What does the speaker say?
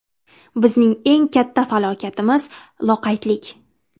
Bizning eng katta falokatimiz loqaydlik.